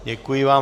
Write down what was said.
Děkuji vám.